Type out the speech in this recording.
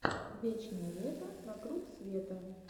вечное лето вокруг света